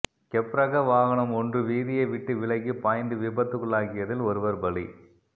கெப்ரக வாகனம் ஒன்று வீதியை விட்டு விலகி பாய்ந்து விபத்துக்குள்ளாகியதில் ஒருவர் பலி